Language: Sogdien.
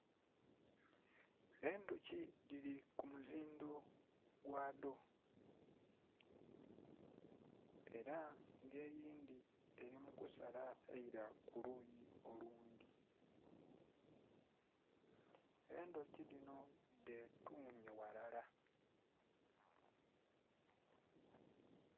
Endhuki dhili ku muzindho gwadho ela nga eyindhi eli mu kusala eila ku luuyi olundhi, endhuki dhinho dhetuumye ghalala.